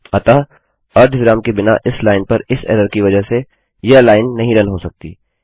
अतः अर्धविराम के बिना इस लाइन पर इस एरर की वजह से यह लाइन नहीं रन हो सकती